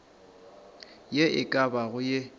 ye e ka bago ye